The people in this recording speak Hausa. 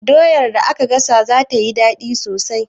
Doyar da aka gasa za tayi daɗi sosai